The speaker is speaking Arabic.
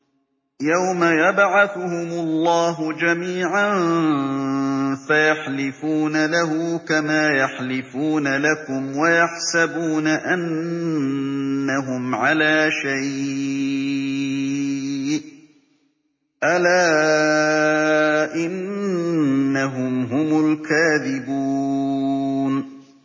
يَوْمَ يَبْعَثُهُمُ اللَّهُ جَمِيعًا فَيَحْلِفُونَ لَهُ كَمَا يَحْلِفُونَ لَكُمْ ۖ وَيَحْسَبُونَ أَنَّهُمْ عَلَىٰ شَيْءٍ ۚ أَلَا إِنَّهُمْ هُمُ الْكَاذِبُونَ